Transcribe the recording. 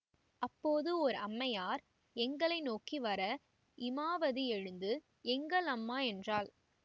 அப்போது ஓர் அம்மையார் எங்களை நோக்கி வர இமாவதி எழுந்து எங்கள் அம்மா என்றாள்